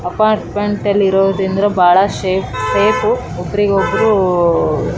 ನೋಡಬಹುದಾದರೆ ಇಲ್ಲಿ ಒಂದು ದೊಡ್ಡ ಕಟ್ಟಡವಿದೆ ಮತ್ತೆ ಇಲ್ಲಿ--